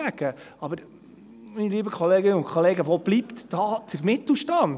Aber, meine lieben Kolleginnen und Kollegen, wo bleibt da der Mittelstand?